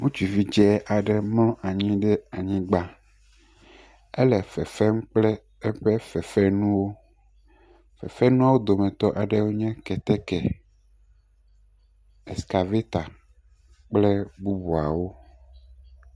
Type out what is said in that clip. Ŋutsuvi dzɛ aɖe mlɔ anyi ɖe anyigba. Ele fefem kple eƒe fefenuwo. Fefenuawo dometɔ aɖewoe nye: keteke, eskaveta kple bubuawo.